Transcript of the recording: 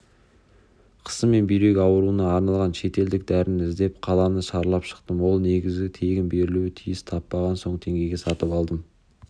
қысым мен бүйрек ауруына арналған шетелдік дәріні іздеп қаланы шарлап шықтым ол негізі тегін берілуі тиіс таппаған соң теңгеге сатып алдым